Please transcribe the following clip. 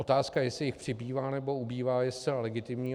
Otázka, jestli jich přibývá nebo ubývá, je zcela legitimní.